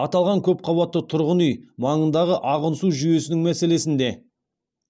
аталған көпқабатты тұрғын үй маңындағы ағын су жүйесінің мәселесіне де